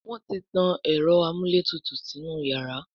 Wón tí tán Ẹ̀rọ amúlétutù sínú iyàrá.